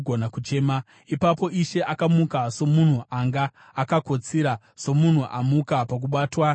Ipapo Ishe akamuka somunhu anga akakotsira, somunhu amuka pakubatwa newaini.